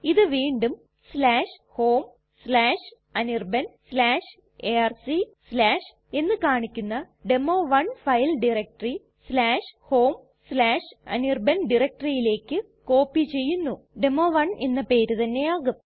ഇത് വീണ്ടും homeanirbanarc എന്ന് കാണിക്കുന്ന ഡെമോ1 ഫയൽ ടയരക്റ്റെറി homeanirban directoryലേക്ക് കോപ്പി ചെയ്യുന്നു ഡെമോ 1 എന്ന പേര് തന്നെ ആകും